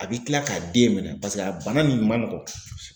A bɛ kila k'a den minɛ a bana min man nɔgɔn